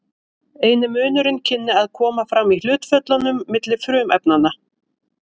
eini munurinn kynni að koma fram í hlutföllunum milli frumefnanna